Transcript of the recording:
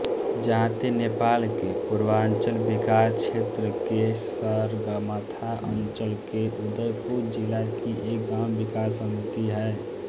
जाँते नेपालके पुर्वांचल विकास क्षेत्रके सगरमाथा अंचलके उदयपुर जिलाकी एक गाँव विकास समिति है